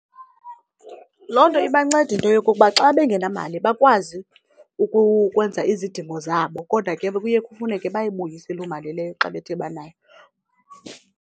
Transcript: Loo nto ibanceda into yokokuba xa bengenamali bakwazi ukwenza izidingo zabo kodwa ke kuye kufuneke bayibuyise loo mali leyo xa bethe banayo.